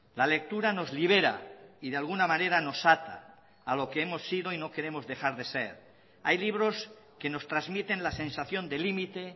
la lectura nos libera y de alguna manera nos ata a lo que hemos sido y no queremos dejar de ser hay libros que nos transmiten la sensación de límite